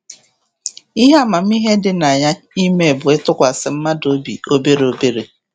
Ihe amamihe dị na ya ime bụ ịtụkwasị mmadụ obi obere obere.